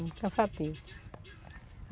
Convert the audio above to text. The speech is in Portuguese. Muito cansativo.